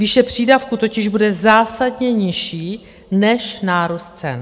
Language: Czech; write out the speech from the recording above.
Výše přídavku totiž bude zásadně nižší než nárůst cen.